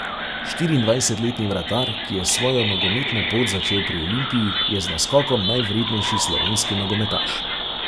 Štiriindvajsetletni vratar, ki je svojo nogometno pot začel pri Olimpiji, je z naskokom najvrednejši slovenski nogometaš.